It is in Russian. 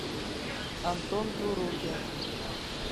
антон турукин